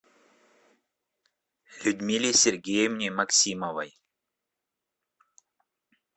людмиле сергеевне максимовой